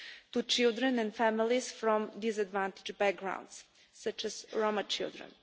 to children and families from disadvantaged backgrounds, such as Roma children.